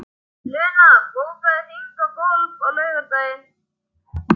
Luna, bókaðu hring í golf á laugardaginn.